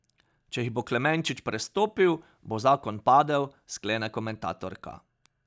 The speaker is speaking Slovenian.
Če jih bo Klemenčič prestopil, bo zakon padel, sklene komentatorka.